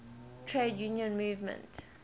trade union movement